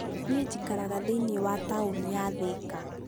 nĩĩ njikaraga thĩinĩĩ wa taũnĩ ya Thĩka